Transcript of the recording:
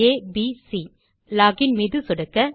ABC பின் log in மீது சொடுக்க